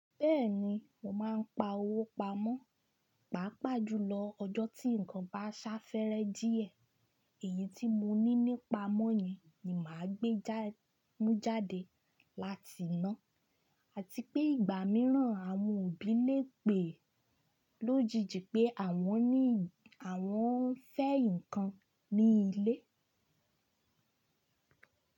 Bẹ́ẹ̀ni, mo máa ń pa owó pamọ́, pàápàá jùlọ ọjọ́ tí nǹkan bá sá fẹ́rẹ́ díẹ̀. Èyí tí mo ní nípa mọ́ yẹn ni màá gbé já mú jáde láti iná. Àti pé ìgbà mìíràn àwọn òbí lè pè lójijì pé àwọn ní àwọn fẹ́ nǹkan ní ilé.